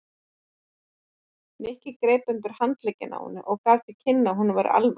Nikki greip undir handlegginn á henni og gaf til kynna að honum væri alvara.